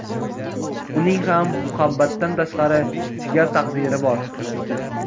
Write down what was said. Uning ham muhabbatdan tashqari chigal taqdiri bor.